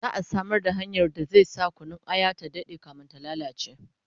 za'a Samar da hanyar da zai sa Kunun aya ta Dade kamin ta lallace